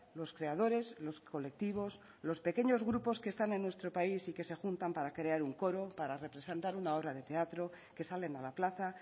los creadores los colectivos los pequeños grupos que están en nuestro país y que se juntan para crear un coro para representar una obra de teatro que salen a la plaza